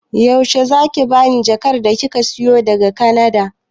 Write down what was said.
Yaushe zaki bani jakar da kika siyo min daga kanada